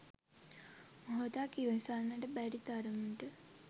මොහොතක් ඉවසන්නට බැරි තරමට